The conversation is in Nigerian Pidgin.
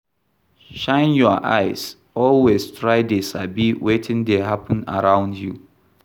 Shine your eyes, always try dey sabi wetin dey happen around you